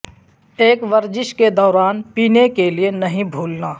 ایک ورزش کے دوران پینے کے لئے نہیں بھولنا